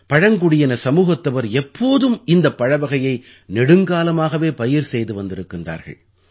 பழங்குடியின சமூகத்தவர் எப்போதும் இந்தப் பழவகையை நெடுங்காலமாகவே பயிர் செய்து வந்திருக்கின்றார்கள்